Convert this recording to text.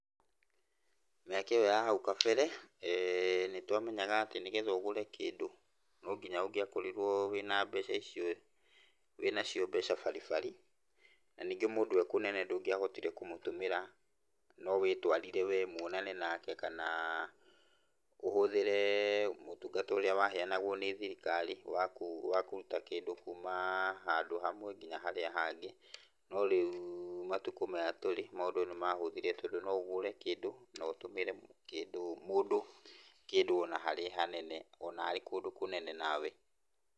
Mĩaka ĩyo ya hau kabere, eeh nĩtwamenyaga atĩ nĩgetha ũgũre kĩndũ nonginya ũngĩakorirwo wĩna mbeca icio, wĩnacio mbeca baribari, na ningĩ mũndũ e kũnene ndũngĩahotire kũmũtũmĩra, no wĩtwarire wee muonane nake kana ũhũthĩre mũtungata ũrĩa waheanagwo nĩ thirikari wa kũruta kĩndũ kuuma handũ hamwe nginya harĩa hangĩ, no rĩu matukũ maya tũrĩ maũndũ nĩ mahũthire, tondũ no ũgũre kĩndũ notũmĩre kĩndũ, mũndũ kĩndũ ona harĩ hanene, ona arĩ kũndũ kũnene nawe.